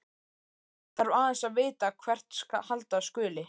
Þarf aðeins að vita hvert halda skuli.